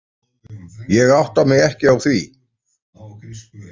Ég átta mig ekki á því.